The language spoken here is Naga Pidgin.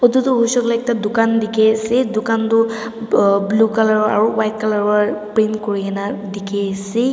Etu toh hoishe koile ekta dukan dekhi ase dukan toh ahh blue colour aro white colour pra paint kuri na dekhi ase.